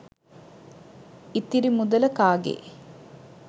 ඉතිරි මුදල කාගේ